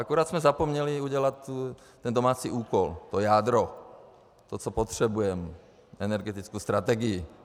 Akorát jsme zapomněli udělat ten domácí úkol, to jádro, to, co potřebujeme - energetickou strategii.